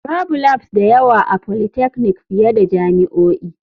Babu labs da yawa a polytechnic fiye da jami'o'i.